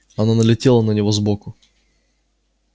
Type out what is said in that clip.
она налетела на него сбоку